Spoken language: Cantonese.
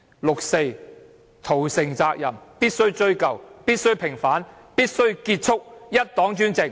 六四屠城責任必須追究、必須平反，必須結束一黨專政。